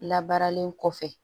Labaaralen kɔfɛ